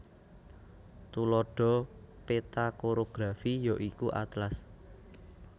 Tuladha peta korografi ya iku atlas